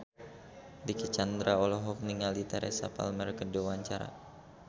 Dicky Chandra olohok ningali Teresa Palmer keur diwawancara